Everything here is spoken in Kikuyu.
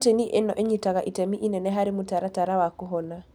Proteini ino ĩnyitaga itemi inene harĩ mũtaratara wa kũhona